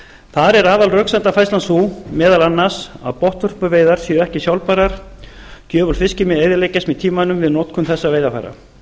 þar er aðalröksemdafærslan sú meðal annars að botnvörpuveiðar séu ekki sjálfbærar gjöful fiskimið eyðileggist með tímanum við notkun þessarar veiðarfæra